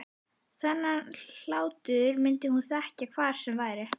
Þennan hlátur myndi hún þekkja hvar sem væri.